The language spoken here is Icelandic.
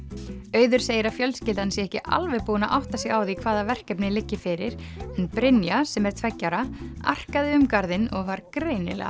auður segir að fjölskyldan sé ekki alveg búin að átta sig á því hvaða verkefni liggi fyrir en Brynja sem er tveggja ára um garðinn og var greinilega